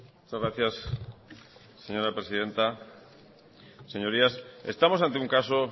muchas gracias señora presidenta señorías estamos ante un caso